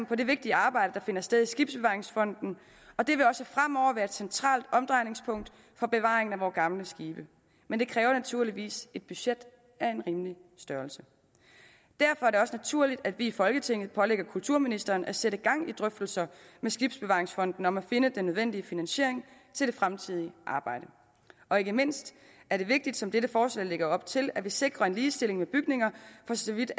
på det vigtige arbejde der finder sted i skibsbevaringsfonden og det vil også fremover være et centralt omdrejningspunkt for bevaringen af vore gamle skibe men det kræver naturligvis et budget af en rimelig størrelse derfor er det også naturligt at vi i folketinget pålægger kulturministeren at sætte gang i drøftelser med skibsbevaringsfonden om at finde den nødvendige finansiering til det fremtidige arbejde og ikke mindst er det vigtigt som dette forslag lægger op til at vi sikrer en ligestilling med bygninger for så vidt